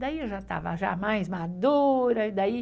Daí eu já estava mais madura. Daí...